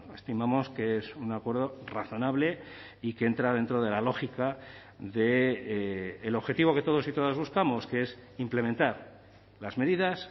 estimamos que es un acuerdo razonable y que entra dentro de la lógica del objetivo que todos y todas buscamos que es implementar las medidas